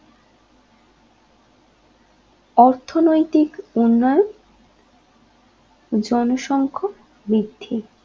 অর্থনৈতিক উন্নয়ন জনসংখক বৃদ্ধি